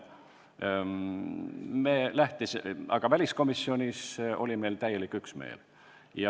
Aga väliskomisjonis oli meil täielik üksmeel.